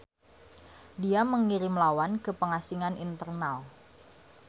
Dia mengirim lawan ke pengasingan internal.